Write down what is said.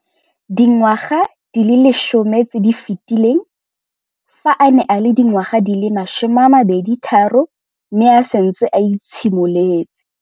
Dingwaga di le 10 tse di fetileng, fa a ne a le dingwaga di le 23 mme a setse a itshimoletse